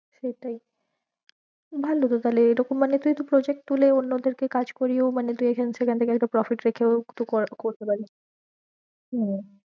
সেটাই ভালো তো তাহলে এরকম মানে তুই একটু project তুলে অন্য দের কে কাজ করিও মানে তুই agency র under এ হয়তো profit রেখেও তুই করা~ করতে পারিস। হম